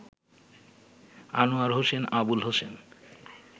Anwar Hossain Abul Hossain